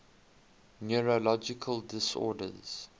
neurological disorders